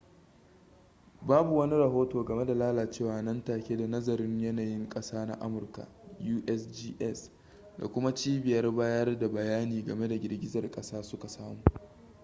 babu wani rahoto game da lalacewa nan take da nazarin yanayin kasa na amurka usgs da kuma cibiyar bayar da bayani game da girgizar kasa suka samu